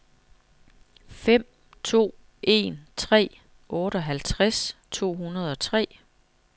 fem to en tre otteoghalvtreds to hundrede og tre